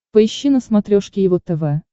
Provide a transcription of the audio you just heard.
поищи на смотрешке его тв